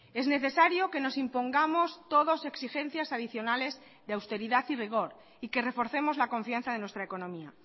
es necesario que nos impongamos todos exigencias adicionales de austeridad y rigor y que reforcemos la confianza de nuestra economía